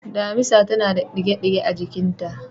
Damisa tana da ɗige-ɗige a jikinta.